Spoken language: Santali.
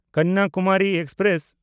ᱠᱚᱱᱱᱟᱠᱩᱢᱟᱨᱤ ᱮᱠᱥᱯᱨᱮᱥ